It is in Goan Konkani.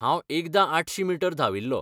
हांव एकदां आठशी मीटर धांविल्लो.